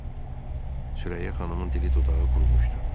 Sürəyyə xanımın dili dodağı qurumuşdu.